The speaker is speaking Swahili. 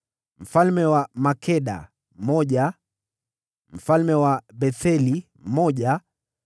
mfalme wa Makeda mmoja mfalme wa Betheli mmoja